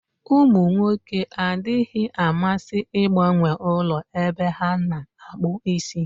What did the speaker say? Ụmụ nwoke adịghị amasị ịgbanwe ụlọ ebe a na-akpụ isi.